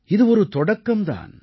இது ஒரு தொடக்கம் தான்